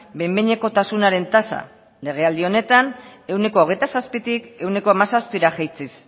behin behinekotasunaren tasa legealdi honetan ehuneko hogeita zazpitik ehuneko hamazazpira jaitsiz